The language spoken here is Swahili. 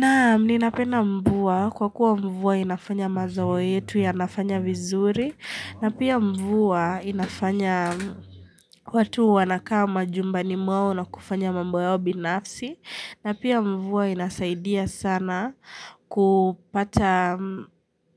Naam ninapenda mvua kwa kuwa mvua inafanya mazao yetu yanafanya vizuri na pia mvua inafanya watu wanakaa majumbani mwao na kufanya mambo yao binafsi na pia mvua inasaidia sana kupata